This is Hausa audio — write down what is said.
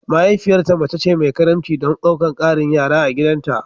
Mahaifiyarta mace ce mai karimci don ɗaukar ƙarin yara a gidanta